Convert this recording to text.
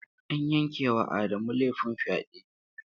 An yanke wa Adamu laifin fyade.